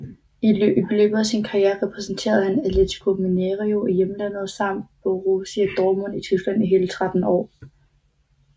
I løbet af sin karriere repræsenterede han Atlético Mineiro i hjemlandet samt Borussia Dortmund i Tyskland i hele 13 år